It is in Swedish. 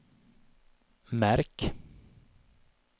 märk